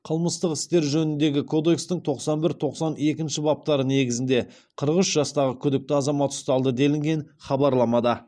қылмыстық істер жөніндегі кодекстің тоқсан бір тоқсан екінші баптары негізінде қырық үш жастағы күдікті азамат ұсталды делінген хабарламада